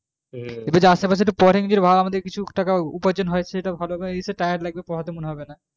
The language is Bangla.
এবার যদি আশেপাশে পরিং কিছু টাকে উপার্জন হয় সেটা ভালো নয়